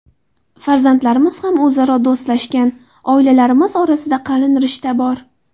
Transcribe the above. Farzandlarimiz ham o‘zaro do‘stlashgan, oilalarimiz orasida qalin rishta bor.